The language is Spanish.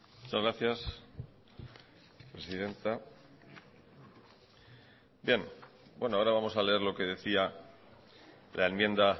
muchas gracias presidenta bien ahora vamos a leer lo que decía la enmienda